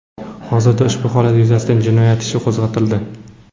Hozirda ushbu holat yuzasidan jinoyat ishi qo‘zg‘atildi.